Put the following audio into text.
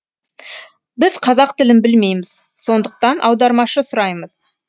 біз қазақ тілін білмейміз сондықтан аудармашы сұраймыз